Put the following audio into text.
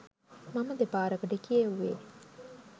මම දෙපාරකට කියෙව්වේ.